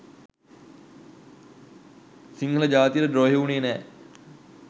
සිංහල ජාතියට ද්‍රෝහීවුනේ නෑ.